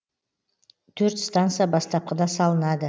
төрт станса бастапқыда салынады